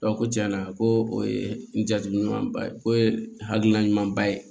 ko tiɲɛna ko o ye n jajatumanba o ye hakilina ɲumanba ye